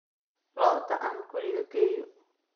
Lo'da aan guriga geeyo.